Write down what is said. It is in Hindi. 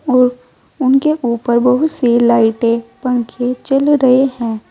और उनके ऊपर बहुत सी लाइटें पंखे चल रहे हैं।